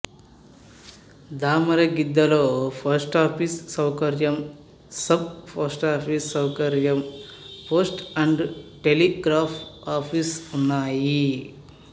దామరగిద్దలో post office సౌకర్యం sub post office సౌకర్యం post and telegraph office ఉన్నాయి